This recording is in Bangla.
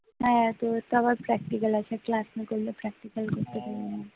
হ্যাঁ তোদের তো আবার practical আছে ক্লাস না করলে practical করতে পারবি না